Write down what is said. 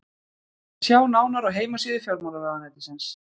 Sjá nánar á heimasíðu fjármálaráðuneytisins.